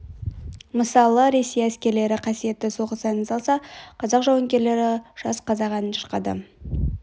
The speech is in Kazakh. мысалы ресей әскерлері қасиетті соғыс әнін салса қазақ жауынгерлері жас қазақ әнін шырқады